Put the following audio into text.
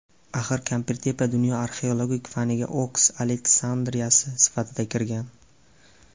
Axir Kampirtepa dunyo arxeologik faniga Oks Aleksandriyasi sifatida kirgan.